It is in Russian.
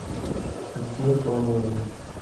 сбер по моему